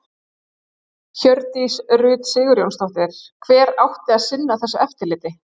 Hjördís Rut Sigurjónsdóttir: Hver átti að sinna þessu eftirliti?